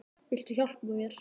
Viltu hjálpa mér?